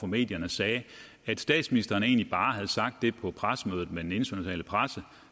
medierne sagde at statsministeren egentlig bare havde sagt det på pressemødet med den internationale presse